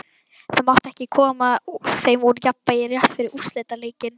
Það mátti ekki koma þeim úr jafnvægi rétt fyrir úrslitaleikinn.